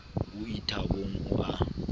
o ie thabong o a